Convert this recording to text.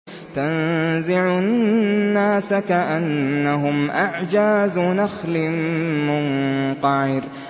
تَنزِعُ النَّاسَ كَأَنَّهُمْ أَعْجَازُ نَخْلٍ مُّنقَعِرٍ